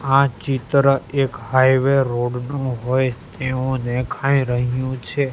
આ ચિત્ર એક હાઈવે રોડ નુ હોઇ તેવુ દેખાય રહ્યુ છે.